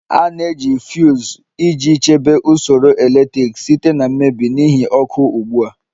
A na-eji fuuz iji chebe usoro eletriki site na mmebi n'ihi oke ugbu a